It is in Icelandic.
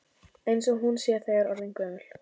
Eins og hún sé þegar orðin gömul.